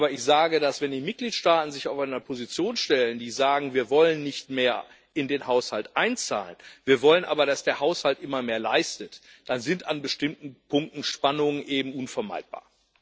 Aber ich sage, wenn die Mitgliedstaaten sich auf eine Position stellen und sagen, wir wollen nicht mehr in den Haushalt einzahlen, wir wollen aber, dass der Haushalt immer mehr leistet, dann sind an bestimmten Punkten Spannungen eben unvermeidbar.